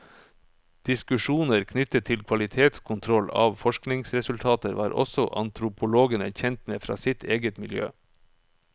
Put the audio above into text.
Diskusjoner knyttet til kvalitetskontroll av forskningsresultater var også antropologene kjent med fra sitt eget miljø.